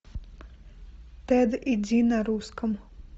тэд и ди на русском